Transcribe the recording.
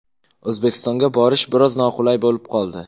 O‘zbekistonga borish biroz noqulay bo‘lib qoldi.